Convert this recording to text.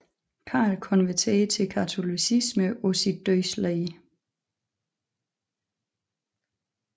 Karl konverterede til katolicismen på sit dødsleje